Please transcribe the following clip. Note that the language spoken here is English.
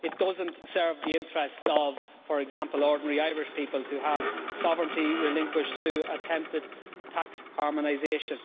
It does not serve the interests of, for example, ordinary Irish people to have sovereignty relinquished through attempted tax harmonisation.